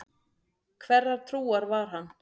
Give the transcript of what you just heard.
Hverrar trúar var hann?